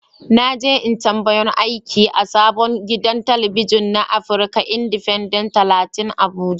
Na je intabiyun aiki a sabon gidan talabijin na afrika indifenden talatin abuja.